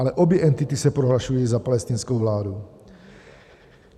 Ale obě entity se prohlašují za palestinskou vládu.